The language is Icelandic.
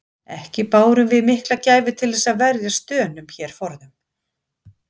Ekki bárum við mikla gæfu til þess að verjast Dönum hér forðum.